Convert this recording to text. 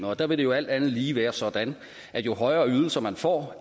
og der vil det jo alt andet lige være sådan at jo højere ydelser man får